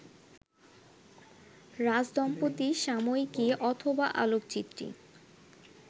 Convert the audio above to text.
রাজদম্পতি সাময়িকী, অথবা আলোকচিত্রী